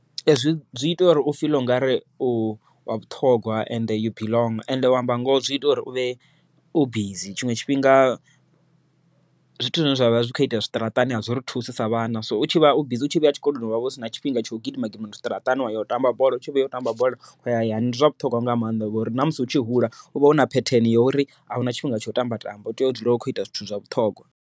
Ee zwi zwi ita uri u feel ungari u wa vhuṱhogwa ende you belong ende, u amba ngoho zwi ita uri u vhe u bizi, tshiṅwe tshifhinga zwithu zwine zwavha zwi kho ita zwiṱaraṱani azwiri thusi sa vhana. So u tshi vha bizi u tshi vhuya tshikoloni wavha usina tshifhinga tsha u gidima gidima zwiṱaraṱani, wa ya u tamba bola u tshi vhuya u tamba bola waya hayani. Ndi zwa vhuṱhogwa nga maanḓa ngori namusi utshi hula uvha u na phetheni ya uri ahuna tshifhinga tsha u tamba tamba u tea u dzula u kho ita zwithu zwa vhuṱhogwa.